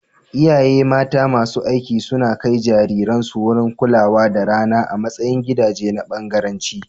Iyaye mata masu aiki suna kai jariransu wurin kulawa da rana a matsayin gidaje na bangaranci.